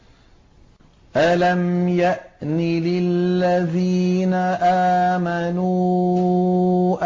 ۞ أَلَمْ يَأْنِ لِلَّذِينَ آمَنُوا